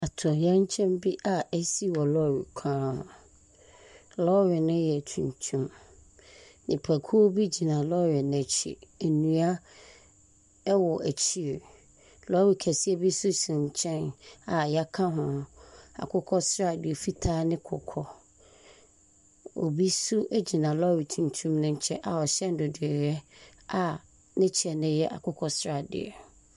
Atoyerɛnkyɛm bi a asi wɔ lɔɔre kwan ho. Lɔɔre no yɛ tuntum. Nipakuo bi gyina lɔɔre no akyi. Nnua wɔ akyire. Lɔɔre kaseɛ bi nso si nkyɛn a wɔaka ho Akokɔsradeɛ, fitaa ne kɔkɔɔ. Obi nso gyina lɔɔre tuntum no nkɛn a ɔhyɛ nnodoeɛ a ne kyɛ no yɛ akokɔsradeɛ.